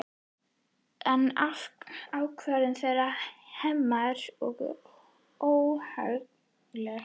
En ákvörðun þeirra Hemma var óhagganleg.